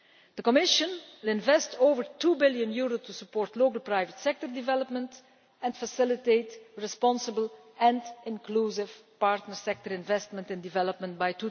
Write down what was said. The Commission will invest over EUR 2 billion to support global private sector development and facilitate responsible and inclusive partner sector investment in development by